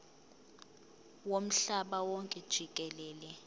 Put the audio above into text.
womhlaba wonke jikelele